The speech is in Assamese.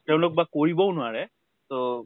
তেওঁলোক বা কৰিবও নোৱাৰে। তʼ